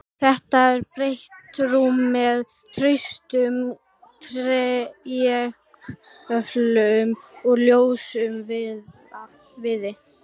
Þetta er breitt rúm með traustum trégöflum úr ljósum viði.